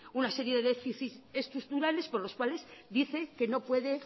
una serie de déficit estructurales por los cuales dice que no puede